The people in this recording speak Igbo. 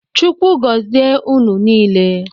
Chukwu gozie ụnụ niile.